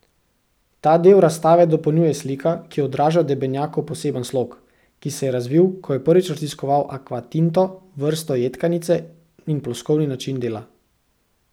Ta del razstave dopolnjuje slika, ki odraža Debenjakov poseben slog, ki se je razvil, ko je prvič raziskoval akvatinto, vrsto jedkanice, in ploskovni način dela.